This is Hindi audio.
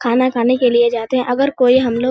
खाना खाने के लिए जाते है अगर कोई हमलोग --